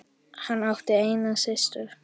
Hann átti eina systur.